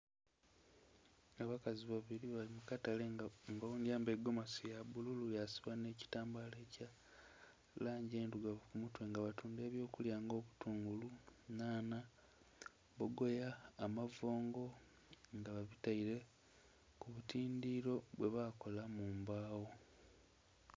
Abakazi babili bali mu katale nga oghundhi ayambaile egomasi ya bbululu yasiba nhe kitambala ekya langi endhirugavu ku mutwe nga batundha eby'okulya nga obutungulu, nhanha, bbogoya, amavongo; nga babitaile ku butindhiro bwe bakola mu mbagho.